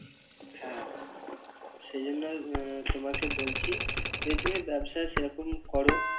হ্যাঁ সেজন্য আহ তোমাকে বলছি যদি তুমি ব্যবসা সেরকম করো